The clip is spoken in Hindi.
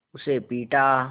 उसे पीटा